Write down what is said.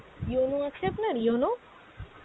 yono আছে আপনার yono ?